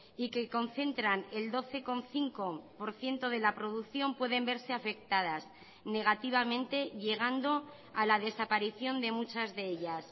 y que concentran el doce coma cinco por ciento de la producción pueden verse afectadas negativamente llegando a la desaparición de muchas de ellas